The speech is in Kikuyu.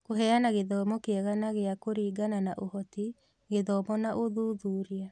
Kũheana gĩthomo kĩega na gĩa kũringana na ũhoti, gĩthomo na ũthuthuria